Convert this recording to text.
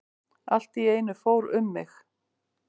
Allt í einu fór um mig.